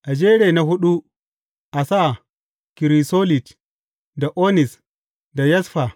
A jeri na huɗu, a sa kirisolit, da onis, da yasfa.